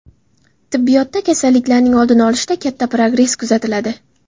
Tibbiyotda kasalliklarning oldini olishda katta progress kuzatiladi.